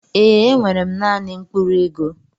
Ee enwere m naanị mkpụrụ ego.